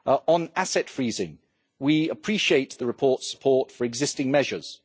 On asset freezing, we appreciate the report's support for existing measures.